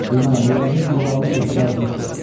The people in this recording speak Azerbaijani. Bilmərəm, o yəqin bu qalın meşədə azmışdı.